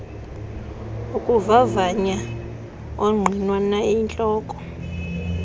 ukuvavanya ongqinwa nayintloko